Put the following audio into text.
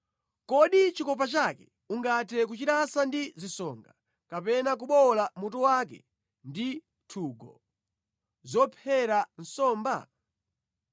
Kodi chikopa chake ungathe kuchilasa ndi zisonga, kapena kubowola mutu wake ndi nthungo zophera nsomba?